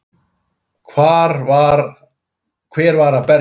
Hver var að berja?